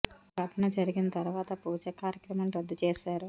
ఈ ఘటన జరిగిన తర్వాత పూజ కార్యక్రమాలను రద్దు చేశారు